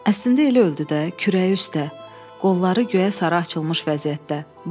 Əslində elə öldü də, kürəyi üstə, qolları göyə sarı açılmış vəziyyətdə.